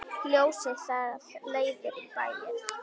Ljósið það leiðir í bæinn.